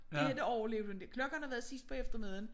Det her det overlevede hun ikke klokken har været sidst på eftermiddagen